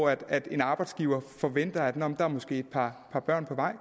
at en arbejdsgiver forventer at der måske er et par børn på vej